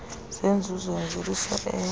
zenzuzo yemvelisa eya